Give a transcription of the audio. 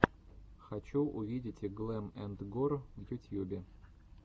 хочу увидеть глэм энд гор в ютьюбе